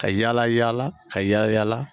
Ka yaala yaala ka yaala yaala